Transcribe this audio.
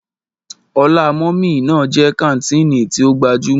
Ọlá mummy ná jẹ́ kàńtìnì tí ó gbajúmọ̀.